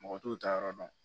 Mɔgɔ t'u ta yɔrɔ dɔn